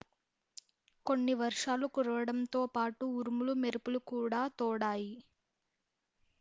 కొన్ని వర్షాలు కురవడంతో పాటు ఉరుములు మెరుపులు కూడా తోడాయి